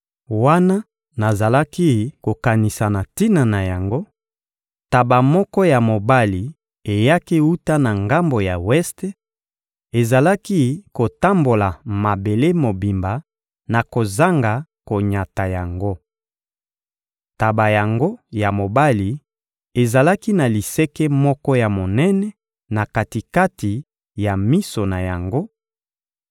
Wana nazalaki kokanisa na tina na yango, ntaba moko ya mobali eyaki wuta na ngambo ya weste; ezalaki kotambola mabele mobimba na kozanga konyata yango. Ntaba yango ya mobali ezalaki na liseke moko ya monene na kati-kati ya miso na yango;